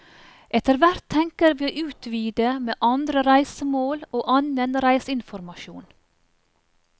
Etterhvert tenker vi å utvide med andre reisemål og annen reiseinformasjon.